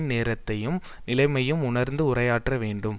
நேரத்தையும் நிலைமையையும் உணர்ந்து உரையாற்ற வேண்டும்